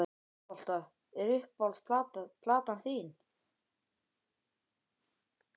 Já, körfubolta Hver er uppáhalds platan þín?